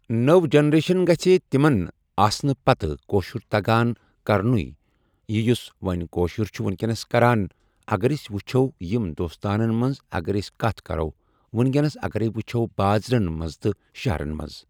نٔو جنریشن گژھِ تمِن آسنہٕ پتہٕ کٔاشُر تگان کرنُے یہِ یُس وۄنۍ کٔاشُر چھ ونکٮ۪نس کران اگر اسۍ وٕچھو یم دوستانن منز اگر أسۍ کتھ کرو ونکٮ۪نس اگرے وٕچھو بازرن منز تہٕ شہرن منز۔